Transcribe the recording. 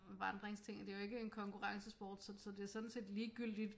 Vandringsting det er jo ikke en konkurrencesport så så det er sådan set ligegyldigt